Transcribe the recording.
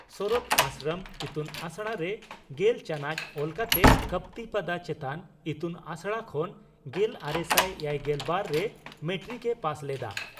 ᱥᱚᱨᱚᱛ ᱟᱥᱨᱚᱢ ᱤᱛᱩᱱᱟᱥᱲᱟ ᱨᱮ ᱜᱮᱞ ᱪᱟᱱᱚᱪ ᱚᱞ ᱠᱟᱛᱮ ᱠᱚᱯᱛᱤᱯᱟᱫᱟ ᱪᱮᱛᱟᱱ ᱤᱛᱩᱱᱟᱥᱲᱟ ᱠᱷᱚᱱ ᱜᱮᱞᱟᱨᱮᱥᱟᱭ ᱮᱭᱟᱭᱜᱮᱞ ᱵᱟᱨ ᱨᱮ ᱢᱮᱴᱨᱤᱠ ᱮ ᱯᱟᱥ ᱞᱮᱫᱼᱟ ᱾